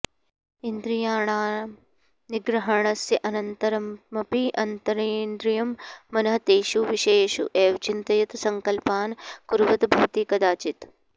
इन्द्रियाणां निग्रहणस्य अनन्तरमपि अन्तरेन्द्रियं मनः तेषु विषयेषु एव चिन्तयत् सङ्कल्पान् कुर्वत् भवति कदाचित्